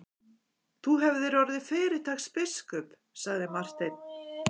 Þú hefðir orðið fyrirtaks biskup, sagði Marteinn.